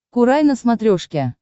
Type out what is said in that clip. курай на смотрешке